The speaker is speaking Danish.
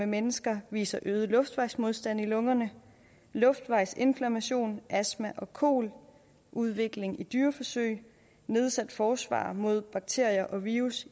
mennesker viser øget luftvejsmodstand i lungerne luftvejsinflammation er astma og kol udvikling i dyreforsøg nedsat forsvar i lungerne mod bakterier og virus